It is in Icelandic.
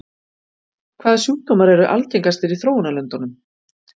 Hvaða sjúkdómar eru algengastir í þróunarlöndunum?